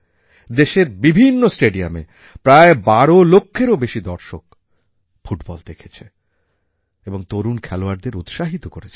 দেশের বিভিন্ন স্টেডিয়ামে প্রায় ১২ লক্ষেরও বেশি দর্শক ফুটবল দেখেছে এবং তরুণ খেলোয়াড়দের উৎসাহিত করেছে